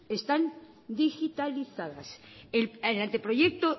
están digitalizadas el anteproyecto